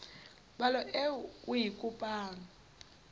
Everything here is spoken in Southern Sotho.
palo eo o e kopang